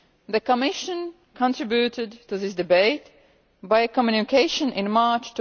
The Commission contributed to this debate by means of a communication in March